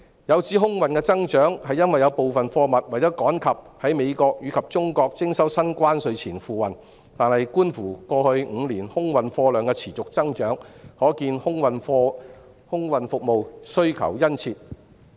有指空運的增長是由於有部分貨物為了趕及在美國和中國徵收新關稅前付運，但觀乎過去5年空運貨量的持續增長，可見空運服務需求殷切。